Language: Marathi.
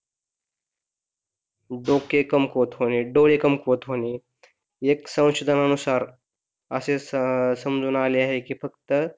डोके कमकुवत होणे, डोळे कमकुवत होणे, एक संशोधनानुसार असे समजून आले आहे कि फक्त,